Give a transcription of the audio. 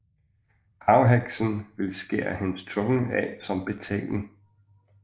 Havheksen ville skære hendes tunge af som betaling